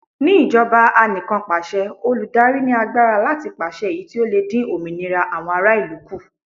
Ní ìjọba Anìkanpàṣẹ, olùdarí ní agbára láti pàṣẹ èyí tí ó lè dín òmìnira àwọn ará ìlú kù.